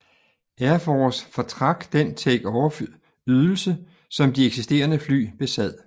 Air Force fortrak den takeoff ydelse som de eksisterende fly besad